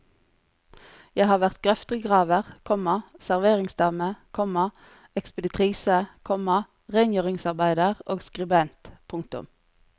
Jeg har vært grøftegraver, komma serveringsdame, komma ekspeditrise, komma rengjøringsarbeider og skribent. punktum